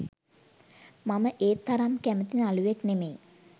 මම ඒ තරම් කැමති නළුවෙක් නෙමෙයි.